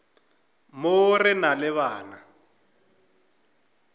mo re na le bana